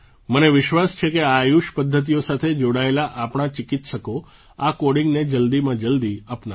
મને વિશ્વાસ છે આ આયુષ પદ્ધતિઓ સાથે જોડાયેલા આપણા ચિકિત્સકો આ કૉડિંગને જલ્દીમાં જલ્દી અપનાવશે